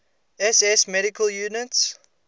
ss medical units